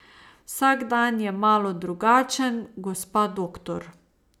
Vsak dan je malo drugačen, gospa doktor.